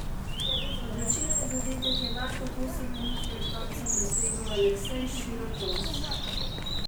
Odločilni zadetek je manj kot osem minut pred koncem dosegel Aleksej Širokovs.